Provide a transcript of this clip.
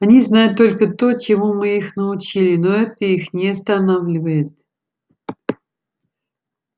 они знают только то чему мы их научили но это их не останавливает